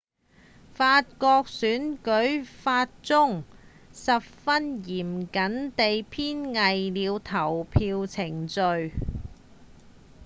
法國選舉法中十分嚴謹地編纂了投票程序